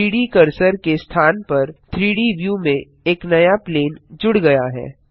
3डी कर्सर के स्थान पर 3डी व्यू में एक नया प्लेन जुड़ गया है